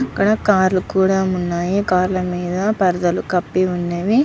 ఇక్కడ కార్ లు కూడా ఉన్నవి కార్ పైన పరదా కప్పి వున్నాయ్.